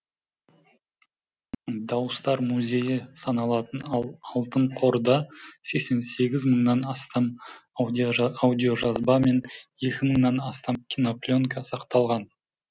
дауыстар музейі саналатын алтын қорда сексен сегіз мыңнан астам аудиожазба мен екі мыңнан астам кинопленка сақталған